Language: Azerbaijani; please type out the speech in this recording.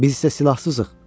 Biz isə silahsızıq.